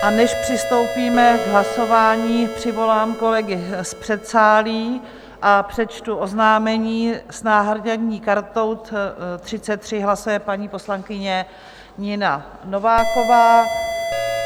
A než přistoupíme k hlasování, přivolám kolegy z předsálí a přečtu oznámení - s náhradní kartou 33 hlasuje paní poslankyně Nina Nováková.